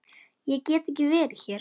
Ég get ekki verið hér.